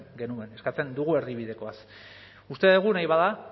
genuen eskatzen dugu erdibidekoaz uste dugu nahi bada